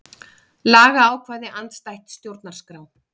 Lagaákvæði andstætt stjórnarskrá